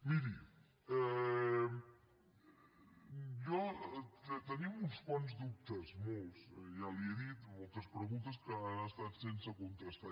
miri tenim uns quants dubtes molts ja li he dit moltes preguntes que han estat sense contestar